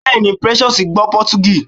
Bẹ́ẹ̀ni, Precious gbọ́ Pọtugí